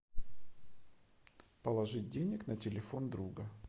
положить денег на телефон друга